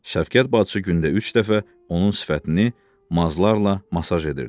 Şəfqət bacısı gündə üç dəfə onun sifətini mazlarla masaj edirdi.